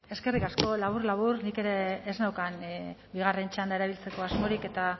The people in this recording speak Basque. eskerrik asko labur labur nik ere ez neukan bigarren txanda erabiltzeko asmorik eta